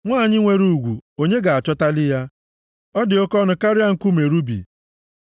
Nwanyị nwere ugwu + 31:10 Maọbụ, Nwanyị nwere agwa ọma na-ejidekwa onwe ya nʼụzọ kwesiri. onye ga-achọtali ya? Ọ dị oke ọnụ karịa nkume rubi.